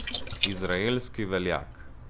Izraelski veljak.